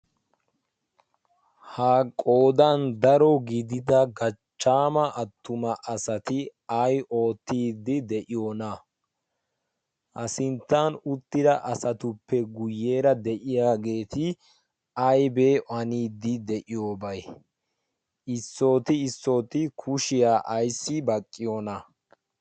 Ha qoodan daro gidida gachchaama attuma asati ay oottiiddi de'iyonaa? Ha sinttan uttida asatuppe guyyeera de'iyageeti aybee haniiddi de'iyobay? Issooti issooti kushiya ayssi baqqiyonaa?